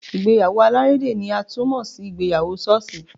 Ìgbéyàwó alárédè ni a tún mọ sí ìgbéyàwó ṣọ́ọ̀ṣì.